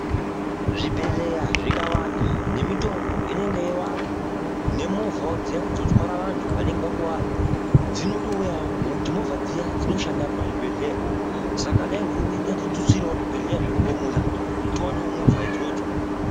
Zvibhedheleya zvikawanda nemitombo inenge yeiwanzwa nemovhawo dziyani dzotwara vantu vanenge vakuwara dzinotouyawo ngokuti movha dziya dzinoshanda pazvibhedhleya saka dai hurumende yatitutsirawo zvibhedhera zvirongomuna kuti tiwanewo movha idzodzo.